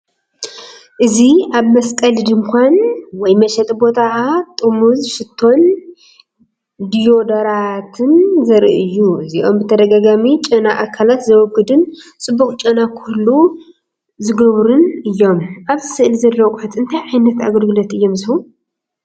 እዚ ኣብ መስቀሊ ድኳን ወይ መሸጢ ቦታ ጥርሙዝ ሽቶን ዲዮዶራንትን ዘርኢ እዩ። እዚኦም ብተደጋጋሚ ጨና ኣካላት ዘወግዱን ፅቡቅ ጨና ክህሉ ዝገብሩን እዮም። ኣብዚ ስእሊ ዘለዉ ኣቑሑት እንታይ ዓይነት ኣገልግሎት እዮም ዝህቡ?